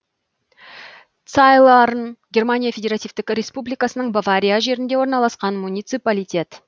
цайларн германия федеративтік республикасының бавария жерінде орналасқан муниципалитет